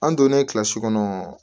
An donnen kilasi kɔnɔ